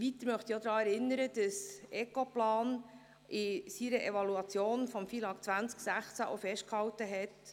Weiter möchte ich daran erinnern, dass die Ecoplan AG in ihrer Evaluation des FILAG im Jahr 2016 Folgendes festgehalten hat: